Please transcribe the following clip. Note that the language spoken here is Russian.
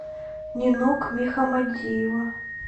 нинок мехамадиева